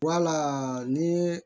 Wala ni ye